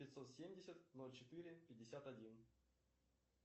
пятьсот семьдесят ноль четыре пятьдесят один